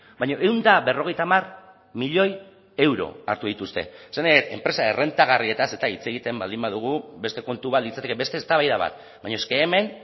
baina ehun eta berrogeita hamar milioi euro hartu dituzte esan nahi dut enpresa errentagarriaz eta hitz egiten baldin badugu beste kontu bat litzateke beste eztabaida bat baina es ke hemen